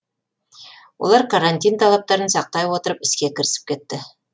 олар карантин талаптарын сақтай отырып іске кірісіп кетті